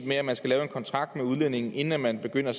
med at man skal lave en kontrakt med udlændingen inden man begynder